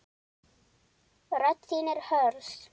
Rödd þín er hörð.